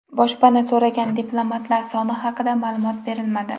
Boshpana so‘ragan diplomatlar soni haqida ma’lumot berilmadi.